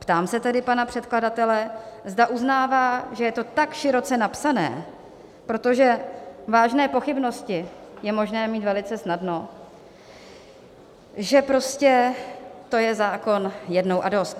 Ptám se tedy pana předkladatele, zda uznává, že je to tak široce napsané - protože vážné pochybnosti je možné mít velice snadno - že prostě to je zákon "jednou a dost".